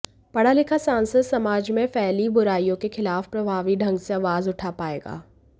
पढ़ा लिखा सांसद समाज में फैली बुराइयों के खिलाफ प्रभावी ढंग से आवाज उठा पायेगा